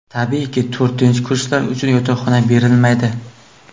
Tabiiyki, to‘rtinchi kurslar uchun yotoqxona berilmaydi.